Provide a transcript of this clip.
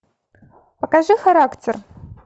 покажи характер